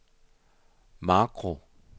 makro